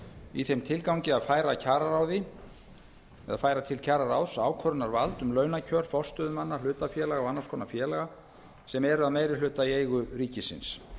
í þeim tilgangi að færa til kjararáðs ákvörðunarvald um launakjör forstöðumanna hlutafélaga og annars konar félaga sem eru að meirihluta í eigu ríkisins